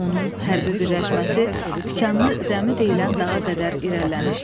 Onun hərbi birləşməsi Tikanlı zəmi deyilən dağa qədər irəliləmişdi.